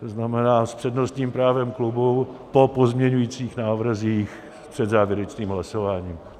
To znamená s přednostním právem klubu po pozměňujících návrzích před závěrečným hlasováním.